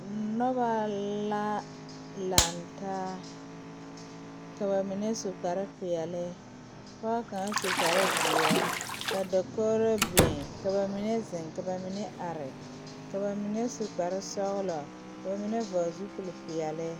Nobɔ la laŋtaa ka ba mine su kparepeɛle pɔɔ kaŋ su kparezeɛ ka dokogro biŋ ka ba zeŋ ka ba mine are ka ba mine su kparesɔglɔ ka ba mine vɔgle zupilpeɛle.